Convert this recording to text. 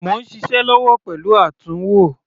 Mò ń ṣiṣẹ́ lọ́wọ́ pẹ̀lú àtúnwò.